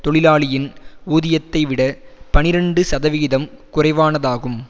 தொழிலாளியின் ஊதியத்தைவிட பனிரண்டு சதவிகிதம் குறைவானதாகும்